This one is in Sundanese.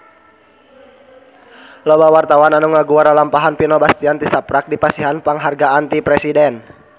Loba wartawan anu ngaguar lalampahan Vino Bastian tisaprak dipasihan panghargaan ti Presiden